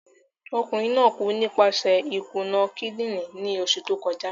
Okunrin naa ku nipaṣẹ ikuna kidinrin ni oṣu to kọja.